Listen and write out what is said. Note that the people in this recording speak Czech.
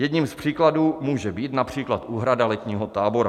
Jedním z příkladů může být například úhrada letního tábora.